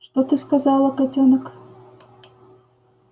что ты сказала котёнок